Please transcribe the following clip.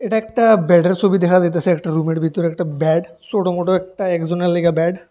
এটা একটা ব্যাডের সবি দেখা যাইতেছে একটা রুমের ভিতর একটা ব্যাড ছোট মোটো একটা একজনের লাইগা ব্যাড ।